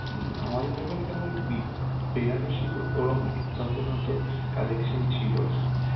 হম আমাদের দোকানে তেমন বি~ বেনারসী ওরম তখন অতো collection ছিল না,